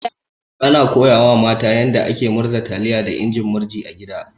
Ana koya wa mata yanda ake murza taliya da injin murji a gida.